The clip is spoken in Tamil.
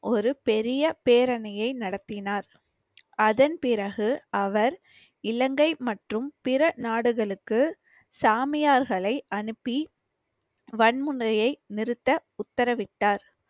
ஒரு பெரிய பேரணியை நடத்தினார். அதன் பிறகு அவர் இலங்கை மற்றும் பிற நாடுகளுக்கு சாமியார்களை அனுப்பி வன்முறையை நிறுத்த உத்தரவிட்டார்